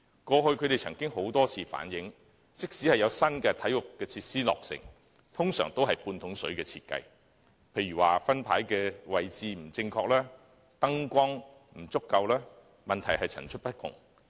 他們過去曾多次反映，即使有新體育設施落成，但其設計通常都是"半桶水"，例如分牌的位置不正確、燈光不足夠，問題層出不窮。